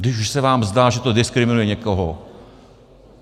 Když už se vám zdá, že to diskriminuje někoho.